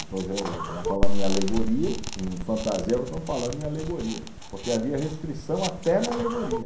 falamos em alegoria, em fantasia, agora estamos falando em alegoria, porque havia restrição até na alegoria.